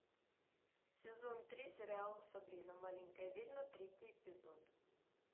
сезон три сериала сабрина маленькая ведьма третий эпизод